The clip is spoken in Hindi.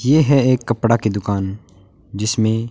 यह है एक कपड़ा की दुकान जिसमें--